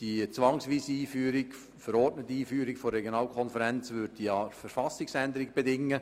Die zwangsweise verordnete Einführung der Regionalkonferenz würde eine Verfassungsänderung bedingen.